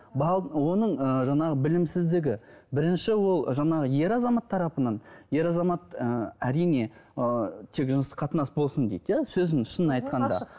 оның ыыы жаңағы білімсіздігі бірінші ол жаңағы ер азамат тарапынан ер азамат ы әрине ы тек жыныстық қатынас болсын дейді иә сөздің шынын айтқанда